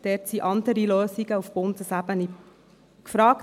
Dort sind andere Lösungen, auf Bundesebene, gefragt.